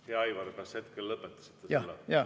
Hea Aivar, kas hetkel lõpetasite?